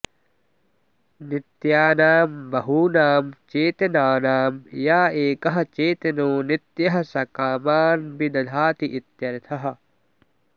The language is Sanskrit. नित्यानां बहूनां चेतनानां य एकः चेतनो नित्यः स कामान् विदधाति इत्यर्थः